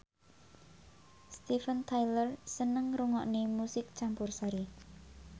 Steven Tyler seneng ngrungokne musik campursari